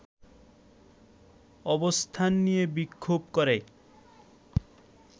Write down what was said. অবস্থান নিয়ে বিক্ষোভ করে